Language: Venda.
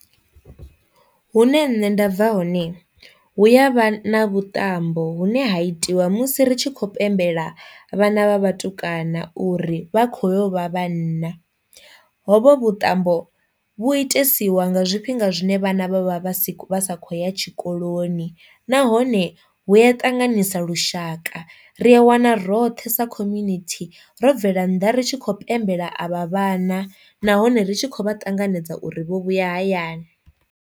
Hune nṋe nda bva hone hu ya vha na vhuṱambo vhune ha itiwa musi ri tshi khou pembela vhana vha vhatukana uri vha kho yo vha vhanna, hovho vhuṱambo vhu itesiwa nga zwifhinga zwine vhana vha vha vha si vha sa khou ya tshikoloni nahone hu a ṱanganisa lushaka, ri a wana roṱhe sa community ro bvela nnḓa ri tshi khou pembela avha vhana nahone ri tshi khou vha ṱanganedza uri vho vhuya hayani.